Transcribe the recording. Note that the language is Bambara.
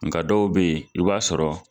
Nga dɔw be yen, i b'a sɔrɔ